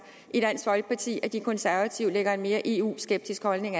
i dansk folkeparti på at de konservative anlægger en mere eu skeptisk holdning